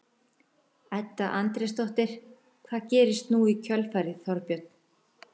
Edda Andrésdóttir: Hvað gerist nú í kjölfarið Þorbjörn?